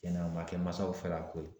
Cɛn na a ma kɛ masaw fɛla ko ye.